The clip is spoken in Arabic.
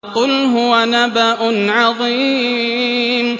قُلْ هُوَ نَبَأٌ عَظِيمٌ